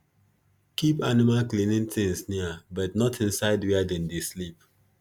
keep animal cleaning things near but not inside where dem dey sleep